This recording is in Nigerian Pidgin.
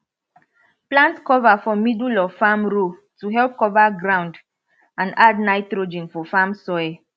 plant clover for middle of farm row to help cover ground and add nitrogen for farm soil